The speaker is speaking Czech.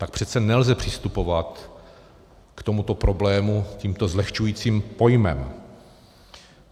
Tak přece nelze přistupovat k tomuto problému tímto zlehčujícím pojmem.